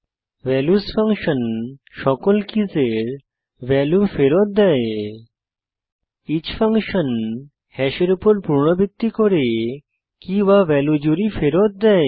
values function সকল কীসের value ফেরত দেয় ইচ ফাংশন হ্যাশের উপর পুনরাবৃত্তি করে keyভ্যালিউ জুড়ি ফেরত দেয়